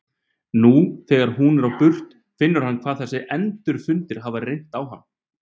Nú þegar hún er á burt finnur hann hvað þessir endurfundir hafa reynt á hann.